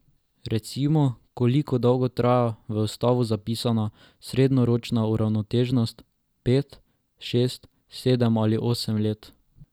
Recimo, koliko dolgo traja v ustavo zapisana srednjeročna uravnoteženost, pet, šest, sedem ali osem let?